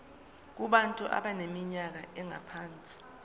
kubantu abaneminyaka engaphansi